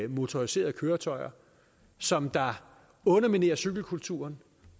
motoriserede køretøjer som underminerer cykelkulturen